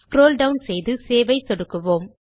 scroll down செய்து save ஐ சொடுக்குவோம்